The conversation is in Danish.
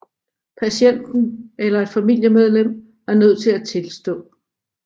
Patienten eller et familiemedlem er nødt til at tilstå